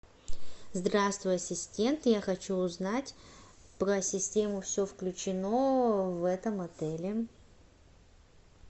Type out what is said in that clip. здравствуй ассистент я хочу узнать про систему все включено в этом отеле